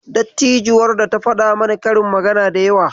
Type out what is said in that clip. Dattijuwar ta faɗa mana karin magana da yawa.